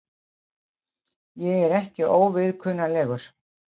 Ég er ekki óviðkunnanlegur.